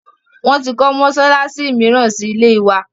Wọn tí kọ́ mọsálásí míràn síí ilé wa.